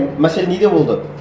мәселе неде болды